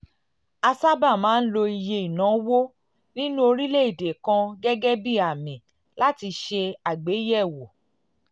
a sábà máa ń lo iye ìnáwó nínú orílẹ̀-èdè kan gẹ́gẹ́ bí àmì láti ṣe àgbéyẹ̀wò